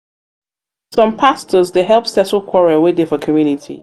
some pastors dey help settle quarrel wey dey for community.